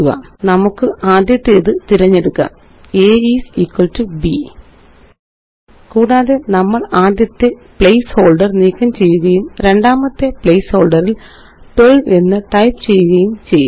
നമുക്ക് ആദ്യത്തേത് തിരഞ്ഞെടുക്കാം a is equal to b കൂടാതെ നമ്മള് ആദ്യത്തെ പ്ലേസ്ഹോള്ഡര് നീക്കം ചെയ്യുകയും രണ്ടാമത്തെ പ്ലേസ്ഹോള്ഡറില് 12 എന്ന് ടൈപ്പ് ചെയ്യുകയും ചെയ്യും